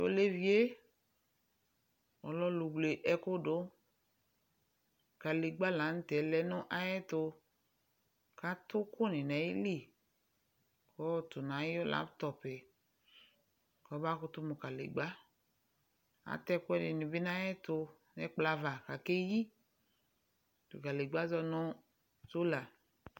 T'olevie lɛ ɔlʋwle ɛkʋdʋ: kǝdegbǝ la nʋtɛ lɛ nʋ ayɛtʋ, k'atʋkʋnɩ n'ayili , k'ɔɔtʋ n'ayʋ laŋtɔpʋɛ : k'ɔmakʋtʋ mʋ kǝdegbǝ Atɛ ɛkʋɛdɩnɩ bɩ n'ayɛtʋ n'ɛkplɔava k'ake yi; kǝdegbǝɛ azɔ nʋ sola